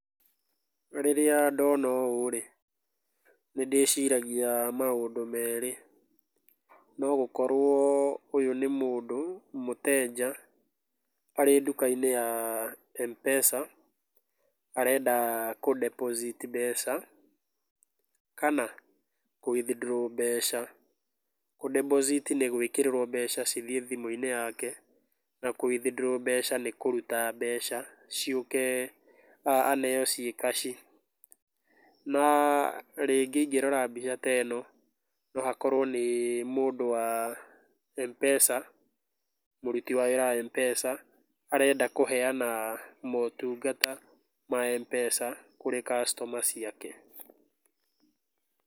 Rĩrĩa ndona ũũ-rĩ, nĩndĩciragia maũndũ merĩ, no gũkorwo ũyũ nĩ mũndũ mũteja, arĩ nduka-inĩ ya Mpesa, arenda kũ deposit mbeca, kana kũ withdraw [cs mbeca. Kũ deposit nĩgwĩkĩrĩrwo mebca cithiĩ thimũ-inĩ yake, na kũ withdraw [csmbeca nĩ kũruta mbeca ciũke, aneo ciĩ kaci, naa rĩngĩ ingĩrora mbica ta ĩno, na hakorwo nĩ mũndũ wa Mpesa, mũruti wa wĩra wa Mpesa, arenda kũheana motungata ma Mpesa kũrĩ customer ciake.